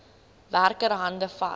werker hande vat